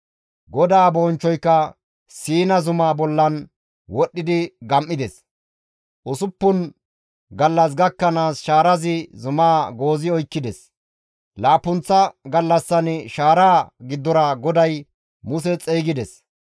GODAA bonchchoyka Siina zumaa bolla wodhdhi gam7ides; usuppun gallas gakkanaas shaarazi zumaa goozi oykkides; laappunththa gallassan shaaraa giddora GODAY Muse xeygides.